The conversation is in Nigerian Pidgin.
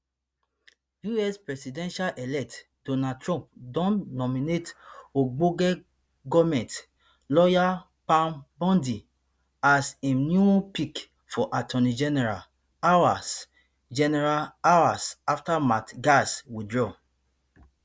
us presidential elect donald trump don nominate ogbonge goment lawyer pam bondi as im new pick for attorney general hours general hours afta matt gaetz withdraw